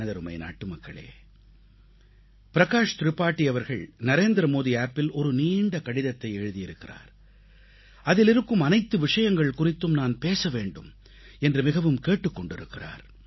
எனதருமை நாட்டுமக்களே பிரகாஷ் திரிபாதி அவர்கள் நரேந்திர மோடி செயலியில் நரேந்திரமோடி App ஒரு நீண்ட கடிதத்தை எழுதியிருக்கிறார் அதில் இருக்கும் அனைத்து விஷயங்கள் குறித்தும் நான் பேச வேண்டும் என்று மிகவும் கேட்டுக் கொண்டிருக்கிறார்